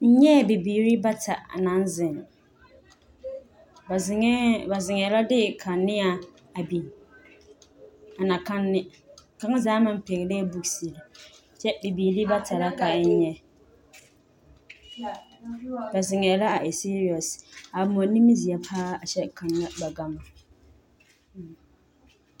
N nyɛɛ bibiiri bata naŋ zeŋ, ba zeŋɛɛ la de kaneɛ a biŋ na kanne, kaŋa zaa maŋ pɛge la 'books',kyɛ bibiiri bata la ka n nyɛ, ba zeŋɛɛ la a e serious, a moɔ nimiri zeɛ paa kyɛ kanna ba gama